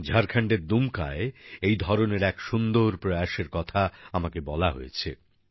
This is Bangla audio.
ঝাড়খন্ডের দুমকায় এই ধরনের এক সুন্দর প্রয়াসের কথা আমাকে বলা হয়েছে